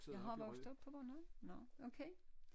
Jeg har vokset op på Bornholm nåh okay